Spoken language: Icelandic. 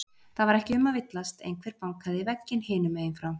Það var ekki um að villast, einhver bankaði í vegginn hinum megin frá.